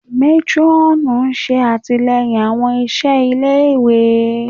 Matron ṣe atilẹyin awọn iṣẹ ile-iwe